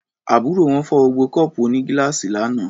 Àbúrò wọn fọ́ gbogbo kọ́ọ̀pù onígíláàsì lánàá.